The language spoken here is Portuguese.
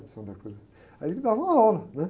de la Cruz, aí ele me dava uma aula, né?